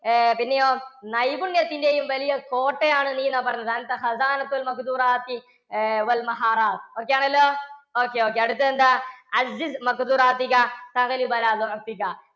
പിന്നെയോ നൈപുണ്യത്തിൻറെ യും വലിയ കോട്ടയാണ് നീ എന്നാണ് പറഞ്ഞത്. okay ആണല്ലോ okay, okay അടുത്തത് എന്താ?